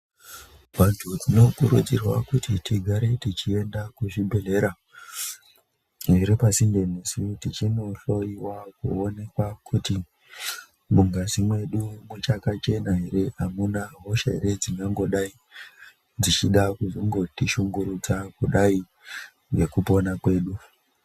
Vantu tinokurudzirwa kuti tigare techienda kuzvibhedhera zviripasinde nesu techindohloiwa kuoneka kuti mungazi mwedu muchakachena ere amuna hosha ere dzingangodai dzechida kuzongotishungurudza kudai ngekupona kwedu.